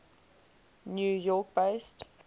new york based